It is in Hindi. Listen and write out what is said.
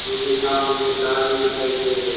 मुझे सामने कुछ आदमी दिखाई दे रहे हैं।